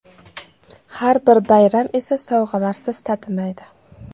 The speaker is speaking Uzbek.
Har bir bayram esa sovg‘alarsiz tatimaydi.